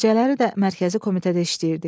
Gecələri də mərkəzi komitədə işləyirdik.